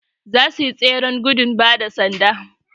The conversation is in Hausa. zasuyi tseren gudung bada sanda